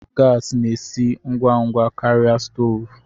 Gasi na-esi ngwa ngwa karịa stoovu.